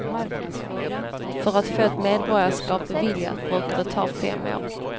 För att få ett medborgarskap beviljat brukar det ta fem år.